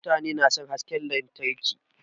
Mutane na son hasken lantarki.